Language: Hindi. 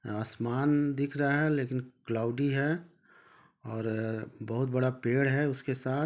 आसमान दिख रहा है लेकिन क्लॉउडी है और बहुत बड़ा पेड़ है उसके साथ--